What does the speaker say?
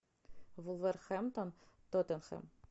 вулверхэмптон тоттенхэм